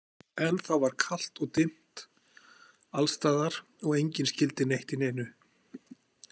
Ennþá var kalt og dimmt allstaðar og enginn skyldi neitt í neinu.